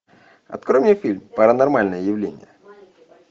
открой мне фильм паранормальное явление